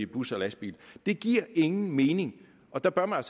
bus og lastbil det giver ingen mening og der bør man